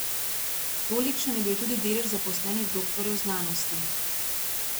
Tolikšen je bil tudi delež zaposlenih doktorjev znanosti.